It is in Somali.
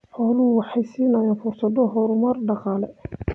Xooluhu waxay siinayaan fursado horumar dhaqaale.